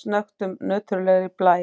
snöggtum nöturlegri blæ.